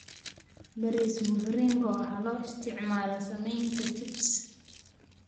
Bariis mviringo waxaa loo isticmaalaa sameynta chips.